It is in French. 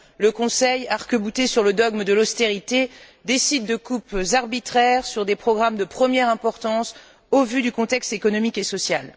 Le Conseil, arc bouté sur le dogme de l'austérité, décide de coupes arbitraires sur des programmes de première importance, au vu du contexte économique et social.